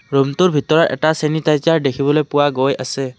ৰূমটোৰ ভিতৰত এটা চেনিতাইজেৰ দেখিবলৈ পোৱা গৈ আছে।